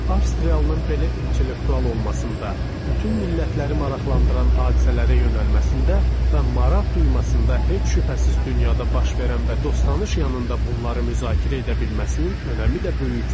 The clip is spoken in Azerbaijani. Avstriyalının belə intellektual olmasında, bütün millətləri maraqlandıran hadisələrə yönəlməsində və maraq duymasında heç şübhəsiz dünyada baş verən və dostanış yanında bunları müzakirə edə bilməsinin önəmi də böyükdür.